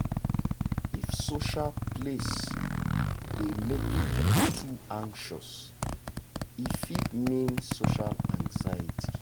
if social place dey make you too anxious e fit mean social anxiety.